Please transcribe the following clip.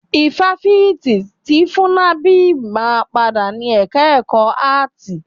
Ifáfitì ti FUNNAB máa padà ni ẹka ẹ̀kọ́ áàtì.